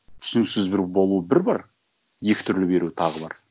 түсініксіз бір болу бір бар екі түрлі беру тағы бар